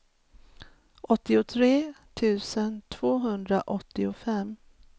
åttiotre tusen tvåhundraåttiofem